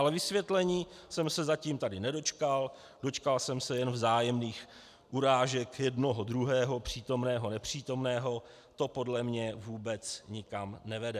Ale vysvětlení jsem se tady zatím nedočkal, dočkal jsem se jen vzájemných urážek jednoho, druhého, přítomného, nepřítomného, to podle mě vůbec nikam nevede.